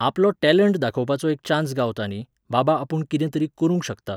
आपलो टॅलंट दाखोवपाचो एक चान्स गावता न्ही, बाबा आपूण कितें तरी करूंक शकता